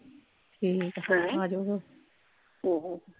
ਠੀਕ ਆ ਹੈਂ ਆਜੋ ਫੇਰ ਹਮ